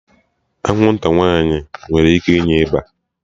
Anwụnta nwaanyị nwere ike inye ịba